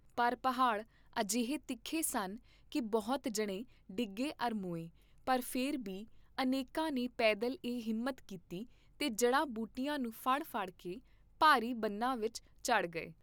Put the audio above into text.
ਪਰ ਪਹਾੜ ਅਜਿਹੇ ਤਿੱਖੇ ਸਨ ਕੀ ਬਹੁਤ ਜਣੇ ਡਿੱਗੇ ਅਰ ਮੋਏ, ਪਰ ਫੇਰ ਬੀ ਅਨੇਕਾਂ ਨੇ ਪੈਦਲ ਇਹ ਹਿੰਮਤ ਕੀਤੀ ਤੇ ਜੜ੍ਹਾਂ ਬੂਟੀਆਂ ਨੂੰ ਫੜ ਫੜ ਕੇ ਭਾਰੀ ਬਨਾਂ ਵਿਚ ਚੜ੍ਹ ਗਏ।